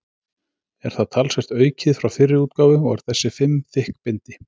Er það talsvert aukið frá fyrri útgáfu og er þessi fimm þykk bindi.